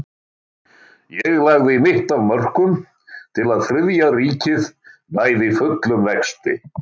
Ég lagði mitt af mörkum til að Þriðja ríkið næði fullum vexti.